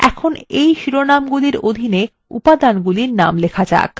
এখন এই শিরোনাম্গুলির অধীন উপাদানগুলির names লিখুন